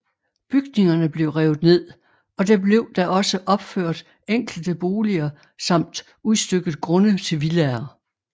Bygningerne blev revet ned og der blev da også opført enkelte boliger samt udstykket grunde til villaer